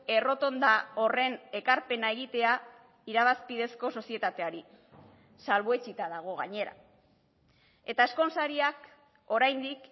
errotonda horren ekarpena egitea irabazpidezko sozietateari salbuetsita dago gainera eta ezkonsariak oraindik